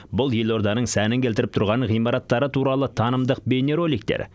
бұл елорданың сәнін келтіріп тұрған ғимараттары туралы танымдық бейнероликтер